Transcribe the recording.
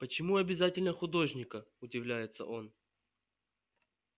почему обязательно художника удивляется он